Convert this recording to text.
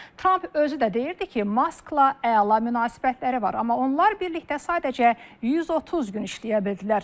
Tramp özü də deyirdi ki, Maskla əla münasibətləri var, amma onlar birlikdə sadəcə 130 gün işləyə bildilər.